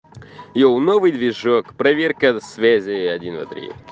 еу новый движок проверка связи один два три